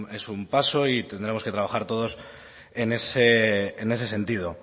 pero es un paso y tendremos que trabajar todos en ese sentido